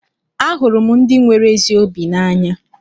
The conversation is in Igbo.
Ahụrụ m ndị nwere ezi obi n'anya.